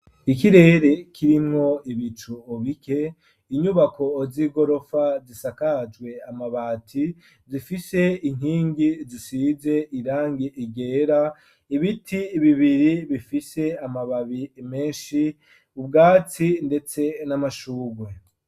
Ikirere kirimwo ibicu bike inyubako z'igorofa zisakajwe amabati zifise inkingi zisize irangi ryera ibiti birebire bifise amababi menshi ubwati ndetse n'amashugwe.